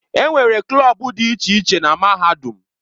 Enwere klọb dị iche iche na Mahadum.